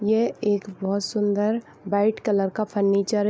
ये एक बहुत सुन्दर वाइट कलर का फर्नीचर है।